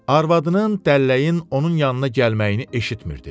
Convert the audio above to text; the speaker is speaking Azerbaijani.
Arvadının, dəlləyin onun yanına gəlməyini eşitmirdi.